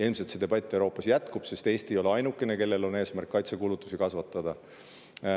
Ilmselt see debatt Euroopas jätkub, sest Eesti ei ole ainukene, kellel on eesmärk kaitsekulutusi kasvatada.